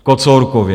V Kocourkově!